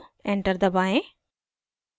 enter दबाएं